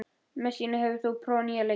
Messíana, hefur þú prófað nýja leikinn?